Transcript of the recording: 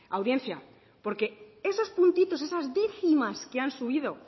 audiencia porque esos puntitos esas décimas que han subido